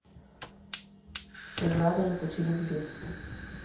преграда на пути любви